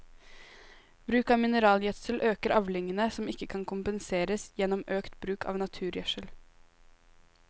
Bruk av mineralgjødsel øker avlingene, som ikke kan kompenseres gjennom økt bruk av naturgjødsel.